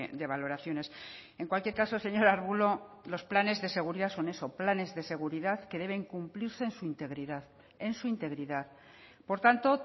de valoraciones en cualquier caso señor arbulo los planes de seguridad son eso planes de seguridad que deben cumplirse en su integridad en su integridad por tanto